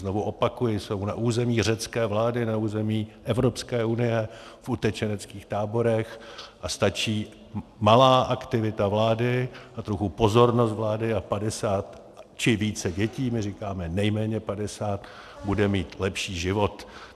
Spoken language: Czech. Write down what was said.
Znovu opakuji, jsou na území řecké vlády, na území Evropské unie v utečeneckých táborech a stačí malá aktivita vlády a trochu pozornost vlády a 50 či více dětí, my říkáme nejméně 50, bude mít lepší život.